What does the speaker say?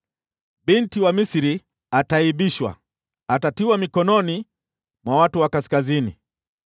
Binti wa Misri ataaibishwa, atatiwa mikononi mwa watu wa kaskazini.”